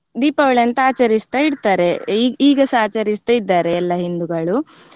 ದೀಪಾವಳಿ ಅಂತ ಆಚರಿಸ್ತಾ ಇರ್ತಾರೆ ಈ ಈಗಸ ಆಚರಿಸ್ತಾ ಇದ್ದಾರೆ ಎಲ್ಲ ಹಿಂದುಗಳು.